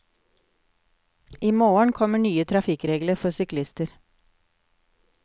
I morgen kommer nye trafikkregler for syklister.